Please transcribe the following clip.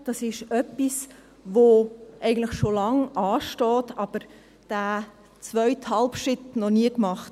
Dies steht schon lange an, aber der zweite Halbschritt wurde noch nie gemacht.